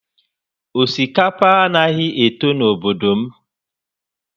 Osikapa a naghị eto n'obodo m